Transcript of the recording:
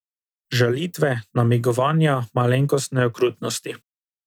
Žalitve, namigovanja, malenkostne okrutnosti.